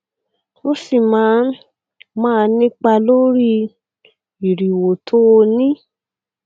ó sì máa ń máà nípa lórí ìrìwò tó o ní